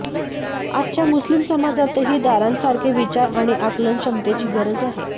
आजच्या मुस्लीम समाजातही दारांसारखे विचार आणि आकलनक्षमतेची गरज आहे